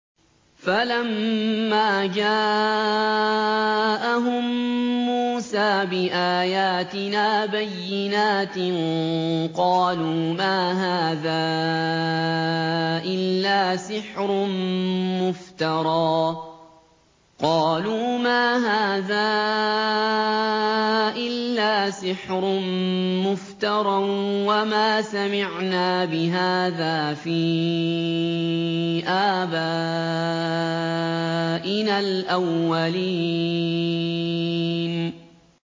فَلَمَّا جَاءَهُم مُّوسَىٰ بِآيَاتِنَا بَيِّنَاتٍ قَالُوا مَا هَٰذَا إِلَّا سِحْرٌ مُّفْتَرًى وَمَا سَمِعْنَا بِهَٰذَا فِي آبَائِنَا الْأَوَّلِينَ